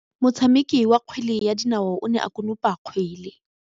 Motshameki wa kgwele ya dinaô o ne a konopa kgwele.